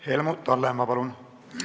Helmut Hallemaa, palun!